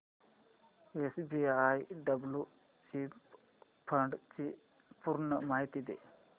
SBI blue chip fund ची पूर्ण माहिती दे